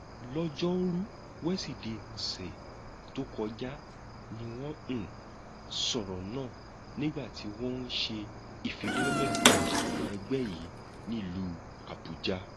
lọjọrùú wísidee ọsẹ tó kọjá ni wọn um sọrọ náà nígbà tí wọn ń ṣe ìfilọlẹ um ẹgbẹ yìí nílùú àbújá